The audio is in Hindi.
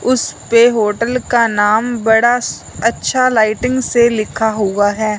उसपे होटल का नाम बड़ा अच्छा लाइटिंग से लिखा हुवा है।